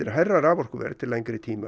hærra raforkuverð til lengri tíma